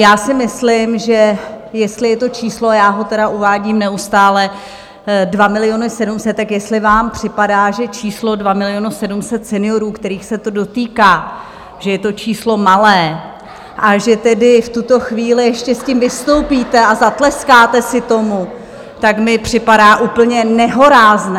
Já si myslím, že jestli je to číslo, já ho tedy uvádím neustále, 2 700 000, tak jestli vám připadá, že číslo 2 700 000 seniorů, kterých se to dotýká, že je to číslo malé, a že tedy v tuto chvíli ještě s tím vystoupíte a zatleskáte si tomu, tak mi připadá úplně nehorázné.